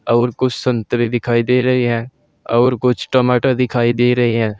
और कुछ संतरे दिखाई दे रही है और कुछ टमाटर दिखाई दे रहेहैं।